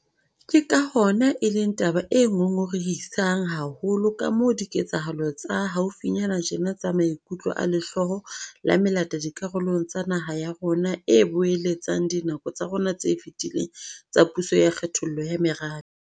Ke ka hona e leng taba e ngongorehisang haholo kamoo diketsahalo tsa haufinyane tjena tsa maikutlo a lehloyo la melata dikarolong tsa naha ya rona a boeletsang dinako tsa rona tse fetileng tsa puso ya kgethollo ya merabe.